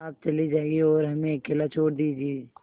आप चले जाइए और हमें अकेला छोड़ दीजिए